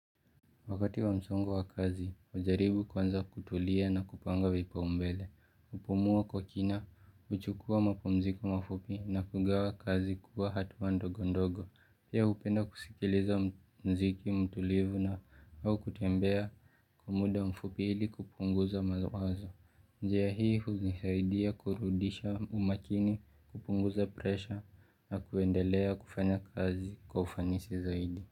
Wakati wa msongo wa kazi hujaribu kwanza kutulia na kupanga vipaumbele pumua kwa kina huchukua mapumziko mafupi na kugawa kazi kwa hatua ndogondogo pia hupenda kusikiliza muziki mtulivu na au kutembea kwa muda mfupi ili kupunguza mawazo njia hii hunisaidia kurudisha umakini kupunguza presha na kuendelea kufanya kazi kwa ufanisi zaidi.